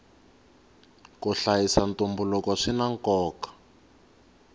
ku hlayisa ntumbuluko swina nkoka